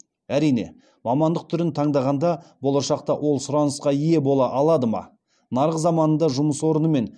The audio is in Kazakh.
әрине мамандық түрін таңдағанда болашақта ол сұранысқа ие бола алады ма нарық заманында жұмыс орнымен